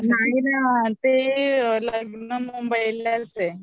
नाही ना जाणार ते लग्न मुंबईला चे